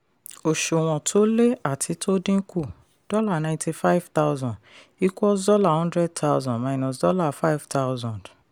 òṣùwọ̀n tó lé àti tó dínkù: dollar ninety five thousand equals dollar hundred thousand minus dollar five thousand